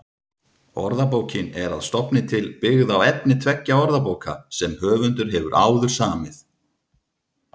Orðabókin er að stofni til byggð á efni tveggja orðabóka sem höfundur hefur áður samið.